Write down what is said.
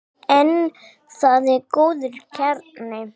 En það er góður kjarni.